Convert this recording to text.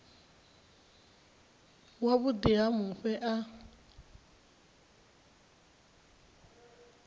wa vhuḓi ha mufhe a